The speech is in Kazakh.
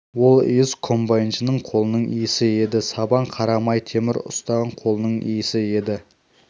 ол иіс комбайншының қолының иісі еді сабан қара май темір ұстаған қолының иісі еді